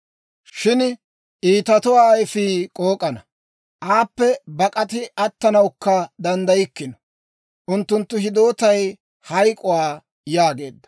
Shin iitatuwaa ayifii k'ook'ana; aappe bak'ati attanawukka danddaykkino. Unttunttu hiddootay hayk'k'uwaa» yaageedda.